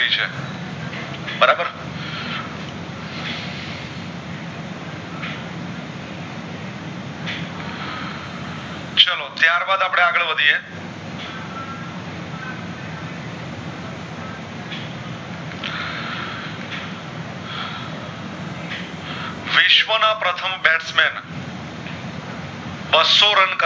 વિશ્વ ના પ્રથમ Bestman બાશો રન કરનાર